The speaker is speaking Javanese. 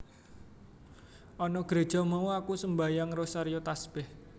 Ana Gréja mau aku sembahyang rosario tasbèh